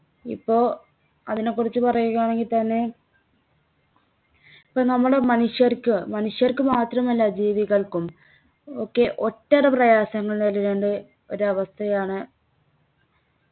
ഇപ്പൊ അതിനെക്കുറിച്ച് പറയുകയാണെങ്കി തന്നെ ഇപ്പോ നമ്മുടെ മനുഷ്യർക്ക് മനുഷ്യർക്ക് മാത്രമല്ല ജീവികൾക്കും ഒക്കെ ഒട്ടേറെ പ്രയാസങ്ങൾ നേരിടേണ്ട ഒരവസ്ഥയാണ്